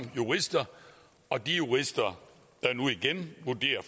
jurister og de jurister der nu igen vurderer